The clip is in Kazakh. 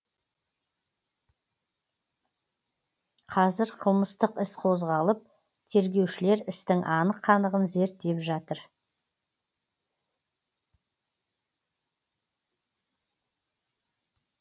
қазір қылмыстық іс қозғалып тергеушілер істің анық қанығын зерттеп жатыр